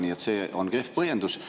Nii et see on kehv põhjendus.